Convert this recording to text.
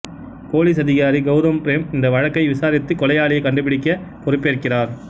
police அதிகாரி கவுதம் பிரேம் இந்த வழக்கை விசாரித்து கொலையாளியை கண்டுபிடிக்க பொறுப்பேற்கிறார்